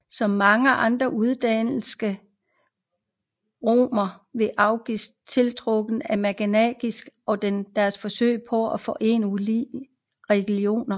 Som mange andre uddannede romere var Augustin tiltrukket af manikæismen og dens forsøg på at forene ulige religioner